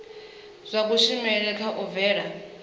zwa kushumele kha u bvela